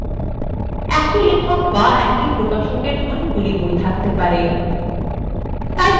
একই লেখক be একই প্রকাশকএর অনেকগুলি বই আছে থাকতে পারে